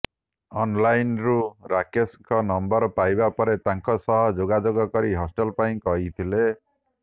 ଅନ୍ଲାଇନ୍ରୁ ରାକେଶଙ୍କ ନମ୍ବର ପାଇବା ପରେ ତାଙ୍କ ସହ ଯୋଗାଯୋଗ କରି ହଷ୍ଟେଲ୍ ପାଇଁ କହିଥିଲେ